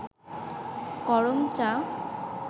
করমচা